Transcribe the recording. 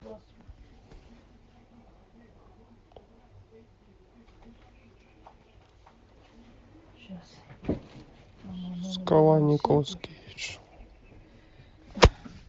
скала николас кейдж